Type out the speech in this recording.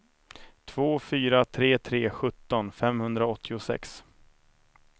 två fyra tre tre sjutton femhundraåttiosex